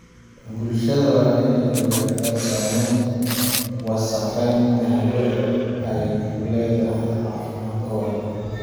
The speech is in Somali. Bulshada waa in ay ogaataa saameynta wasakheynta hawada ay ku leedahay caafimaadkooda.